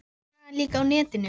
Svo er sagan líka á netinu.